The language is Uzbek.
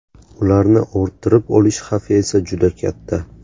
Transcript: Ularni orttirib olish xavfi esa juda katta.